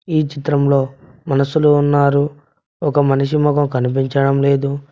ఈ చిత్రంలో మనుషులు ఉన్నారు ఒక మనిషి మొగం కనిపించడం లేదు.